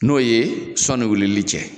N'o ye sɔni wulili cɛ